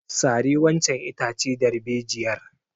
Sare wancan itace darbejiyar!